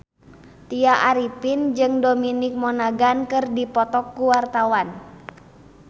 Tya Arifin jeung Dominic Monaghan keur dipoto ku wartawan